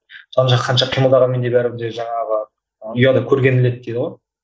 қанша қимылдағанмен де бәрібір де жаңағы ұяда көргенін іледі дейді ғой